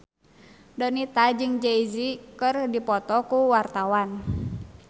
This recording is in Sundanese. Donita jeung Jay Z keur dipoto ku wartawan